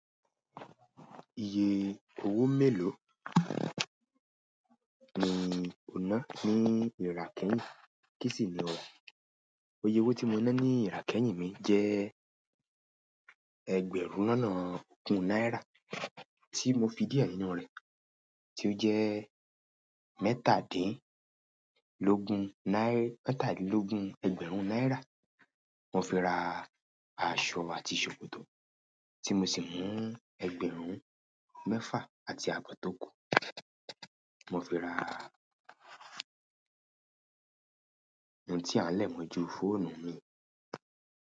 Iye owó mélòó ni ọ̀nà ní ìràkẹ̀yìn? Kí sì ni ò ra? Iyè owó tí mo ná ní ìràkẹ̀yìn mi jẹ́ ẹgbẹ̀rún lọ́nà ogún náírà tí mo fi díẹ̀ nínú rẹ̀ tí ó jẹ́ mẹ́tàdínlógún ẹgbẹ̀rún náírà mo fi ra aṣọ àti ṣòkòtò tí mo sì mú ẹgbẹ̀rún mẹ́fà àti àbọ̀ tó kù mo fi ra àwọn ohun tí a lẹ̀ mọ̀ ju fóònù mi.